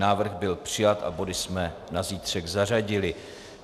Návrh byl přijat a body jsme na zítřek zařadili.